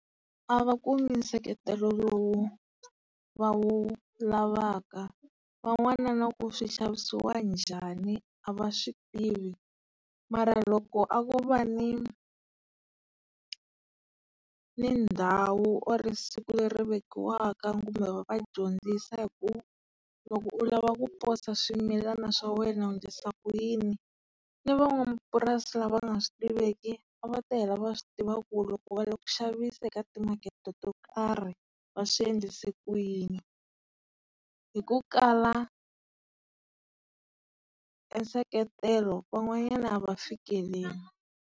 A va kumi nseketelo lowu va wu lavaka. Van'wana na ku swixavisiwa njhani a va swi tivi. Mara loko a vo va ni ni ndhawu or siku leri vekiwaka kumbe va va dyondzisi hi ku loko u lava ku posa swimilana swa wena u endlisa ku yini, ni van'wamapurasi la va nga swi tiveki, a va ta hela va swi tiva ku loko va la ku xaviseka eka timakete to karhi va endlisa ku yini. Hi ku kala e nseketelo, van'wanyani ava fikeleli.